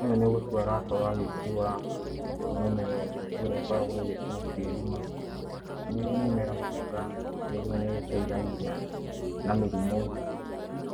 Ũyũ nĩ gũtua arakorwo agĩtua mũmera ũyũ ũrĩa ũkoragwo ũgĩtwo kĩruma. Nĩ ũmera mwega tondũ nĩ ũgĩteithagia na mĩrimũ,